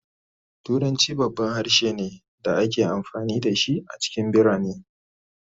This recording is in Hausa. Turanci babban harshe ne da ake amfani da shi a cikin birane